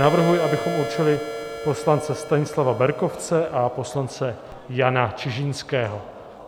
Navrhuji, abychom určili poslance Stanislava Berkovce a poslance Jana Čižinského.